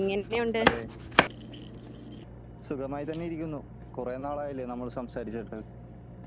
അതേ സുഖമായി തന്നെ ഇരിക്കുന്നു . കുറെ നാലായില്ലേ നമ്മൾ സംസാരിച്ചിട്ട്